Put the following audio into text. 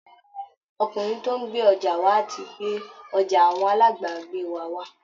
Ọkùnrin tó ń gbé ọjà wà á ti gbé ọjà àwọn alábàágbé wa wá